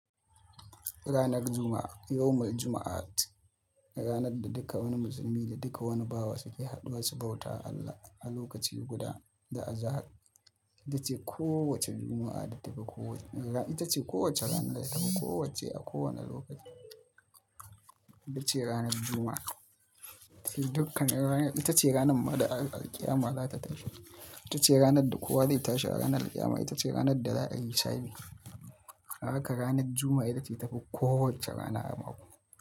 Ranar Juma'a, yawmul juma'at, ranar da duka wani musulmi da duka wani bawa suke haɗuwa su bauta Allah a lokaci guda da azahar. Ita ce kowace juma'a da ta fi kowace rana, ita ce kowace rana da ta fi kowacce a kowane lokaci. Ita ce ranar Juma'a. Dukkan ranar ita ce ranar ma da alƙiyama za ta tashi. Ita ce ranar da kowa zai tashi ranar alƙiyama. Ita ce ranar da za'a yi sa'i. Haka ranar Juma'a ita ce ta fi kowacce rana haramwa.